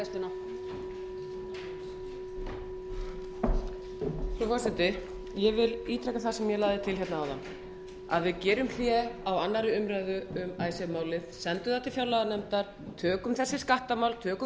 forseti ég vil ítreka það sem ég lagði til áðan að við gerum hlé á aðra umræðu um icesave málið sendum það til fjárlaganefndar tökum þessi skattamál tökum